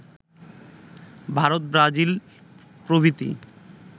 Bharat Brazil প্রভৃতি